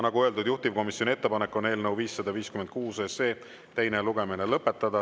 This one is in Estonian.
Nagu öeldud, juhtivkomisjoni ettepanek on eelnõu 556 teine lugemine lõpetada.